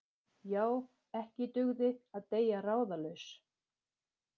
Já, ekki dugði að deyja ráðalaus!